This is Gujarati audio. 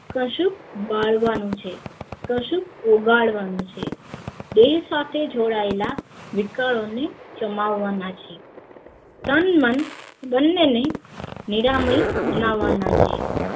કશું બાળવાનું છે કશુંક ઓગાળવાનું છે દેહ સાથે જોડાયેલા વિકારો ને ચમાવાના છે તન મન બંનેને નીલમની બનાવના છે